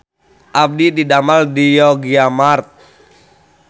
Abdi didamel di Yogyamart